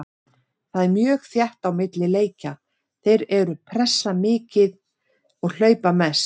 Það er mjög þétt á milli leikja, þeir eru pressa mikið og hlaupa mest.